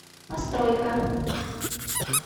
постройка